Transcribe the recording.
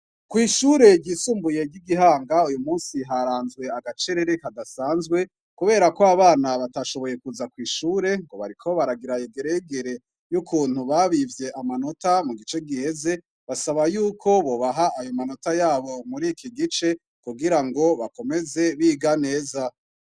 Kw'ishure ryisumbuye ryi Gihanga, uy'umnsi haranzwe agacerere kadasanzwe, kubera ko abana batashoboye kuza kw'ishure ngo bariko batagira yegereyegere y'ukuntu babivye amanota mu gice igeze. Basaba y'uko bonaha ayo matora y'abo mur'ki gice kugira ngo bakomeze biga neza.